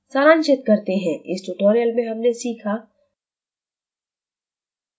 सारांशित करते हैं: इस ट्यूटोरियल में हमने सीखा: